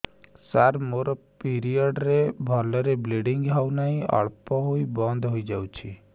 ସାର ମୋର ପିରିଅଡ଼ ରେ ଭଲରେ ବ୍ଲିଡ଼ିଙ୍ଗ ହଉନାହିଁ ଅଳ୍ପ ହୋଇ ବନ୍ଦ ହୋଇଯାଉଛି